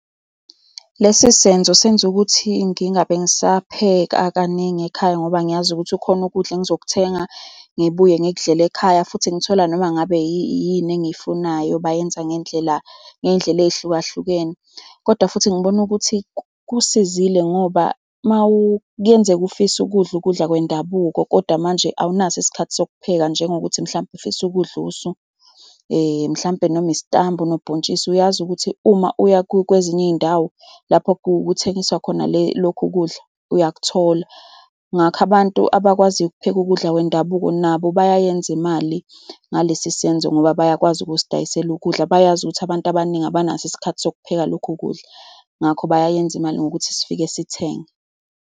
Lesi senzo senza ukuthi ngingabe ngisapheka kaningi ekhaya ngoba ngiyazi ukuthi khona ukudla engizokuthenga, ngibuye ngikudlele ekhaya futhi ngithole noma ngabe yini engiyifunayo. Bayenza ngendlela ngey'ndlela ey'hlukahlukene, kodwa futhi ngibona ukuthi kusizile ngoba uma kuyenzeka ufisa ukudla ukudla kwendabuko. Kodwa manje awunaso isikhathi sokupheka. Njengokuthi mhlampe ufisa ukudla usu mhlampe noma isitambu nobhontshisi uyazi ukuthi uma uya kwezinye iy'ndawo lapho kuthengiswa khona le lokhu kudla uyakuthola. Ngakho abantu abakwaziyo ukupheka ukudla kwendabuko nabo bayayenza imali ngalesi senzo ngoba bayakwazi ukusidayisela ukudla. Bayazi ukuthi abantu abaningi abanaso isikhathi sokupheka lokhu kudla. Ngakho bayayenza imali ngokuthi sifike sithenge.